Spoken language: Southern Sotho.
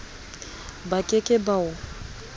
ba ke ke ba o